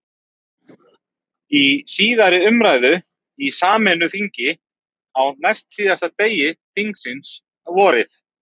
Í síðari umræðu í sameinu þingi, á næstsíðasta degi þingsins, vorið